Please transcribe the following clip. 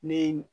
Ne ye